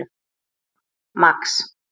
Max